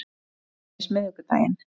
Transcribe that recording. Til dæmis miðvikudaginn